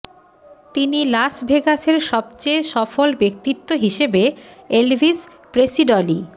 তিনি লাস ভেগাসের সবচেয়ে সফল ব্যক্তিত্ব হিসেবে এলভিস প্রেসিডলি